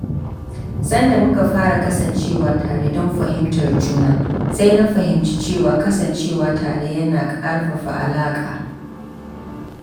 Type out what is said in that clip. Sanda muka fara kasancewa tare don fahimtar juna, sai na fahimci cewa kasancewa tare yana ƙarfafa alaƙa.